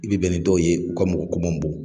I bi bɛn ni dɔw ye u ka mɔgɔ ko man bon